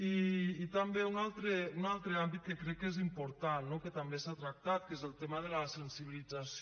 i també un altre àmbit que crec que és important no que també s’ha tractat que és el tema de la sensibilització